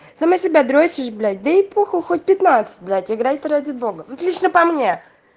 сама себя дрочишь блять да и похуй хоть пятнадцать блять играй ты ради богану вот лично по мне